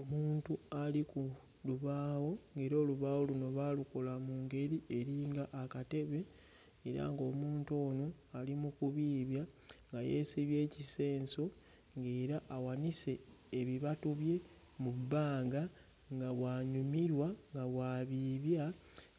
Omuntu ali ku lubaawo ng'era olubaawo luno baalukola mu ngeri eri nga akatebe era ng'omuntu ono ali mu kubiibya nga yeesibye ekisenso ng'era awanise ebibatu bye mu bbanga nga bw'anyumirwa nga bw'abiibya